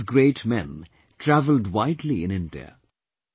All these great men travelled widely in India